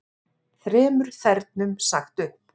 Þremur þernum sagt upp